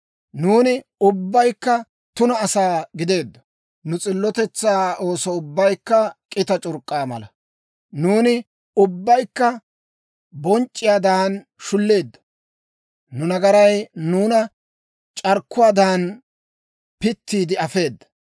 Nuuni ubbaykka tuna asaa gideeddo; nu s'illotetsaa ooso ubbaykka k'ita c'urk'k'a mala. Nuuni ubbaykka bonc'c'iyaadan shulleeddo; nu nagaray nuuna c'arkkuwaadan, pittiide afeeda.